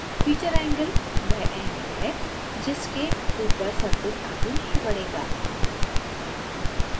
featureangle वह angle है जिसके ऊपर surface आगे नहीं बढेगा